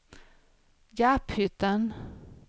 Garphyttan